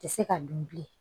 Tɛ se ka dun bilen